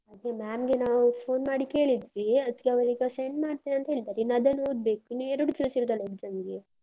ಅದೇ ma'am ಗೆ ನಾವು phone ಮಾಡಿ ಕೇಳಿದ್ವಿ ಅದ್ಕೆ ಅವರೀಗ send ಮಾಡ್ತೇನೆ ಅಂತ ಹೇಳಿದ್ದಾರೆ. ಇನ್ನು ಅದನ್ನು ಓದ್ಬೇಕು, ಇನ್ನು ಎರಡು ದಿವಸ ಇರುದಲ್ಲಾ exam ಗೆ.